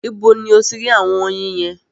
Ibo ni o ti rí àwọn oyin yẹn?